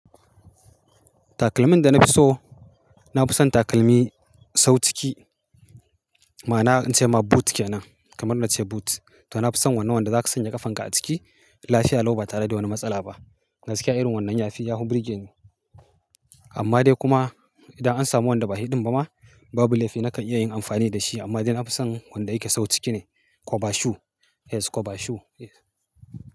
Takalmin da na fi so, na fi son takalmi sau ciki. Ma'ana in ce ma boot kenan, kamar na ce boot. To na fi son wannan wanda zaka sanya ƙafanka a ciki, lafiya lau ba tare da wani matsala ba. Gaskiya irin wannan yafi yahu birge ni. Amma dai kuma idan an samu wanda ba hi ɗin ba ma, ba bu laifi nakan iya yin amfani da shi. Amma dai na fi son wanda yake sau ciki ne, koba shoe. Yes koba shoe yes.